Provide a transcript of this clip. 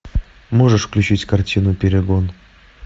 можешь включить картину перегон